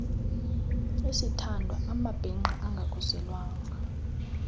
isithandwa amabhinqa angakhuselwanga